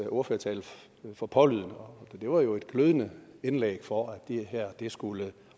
ordførertale for pålydende og det var jo et glødende indlæg for at det her skulle